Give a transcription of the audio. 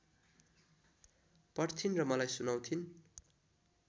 पढ्थिन् र मलाई सुनाउँथिन्